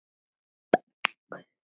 Unnur Steina.